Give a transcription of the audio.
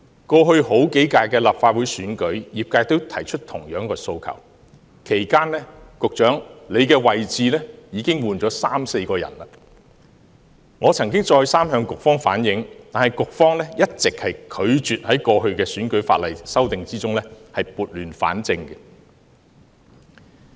過去數屆立法會選舉，業界均提出同樣的訴求，其間，局長的位置已換了三四人，我曾再三向局方反映，但局方一直拒絕在過去的選舉法例修訂中撥亂反正。